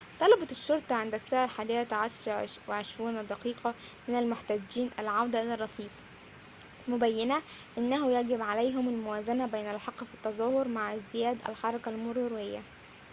طلبت الشرطة عند الساعة 11:20 من المحتجين العودة إلى الرصيف مبينّة أنه يجب عليهم الموازنة بين الحق في التظاهر مع ازدياد الحركة المرورية